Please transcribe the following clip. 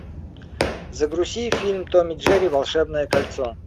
загрузи фильм том и джерри волшебное кольцо